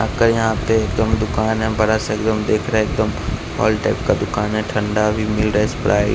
आपका यहां पे एकदम दुकान है बड़ा सा एकदम देख रहा है एकदम हॉल टाइप का दुकान है ठंडा भी मिल रहा है स्प्राइट --